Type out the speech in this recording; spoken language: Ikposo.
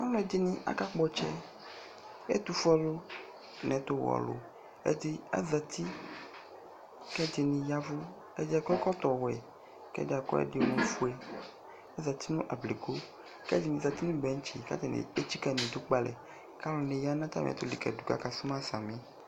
alʋɛdini aka kpɔ ɔtsɛ, ɛtʋƒʋɛ ɔlʋ nʋ ɛtʋ wɛ ɔlʋ, ɛdiazati kʋ ɛdini yavʋ ɛdi akɔ ɛkɔtɔ wɛ kʋ ɛdi akɔ ɛdi mʋ ɔƒʋɛ azati nʋ ablikʋ kʋ ɛdini zati nʋ benchi kʋ ɛdini ɛtsika nʋ idʋ kpè alɛ kʋalʋɛdini yanʋ atami ɛtʋ likadʋ kʋ aka sʋma sami